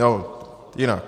Nebo jinak.